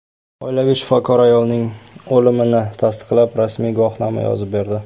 Oilaviy shifokor ayolning o‘limini tasdiqlab, rasmiy guvohnoma yozib berdi.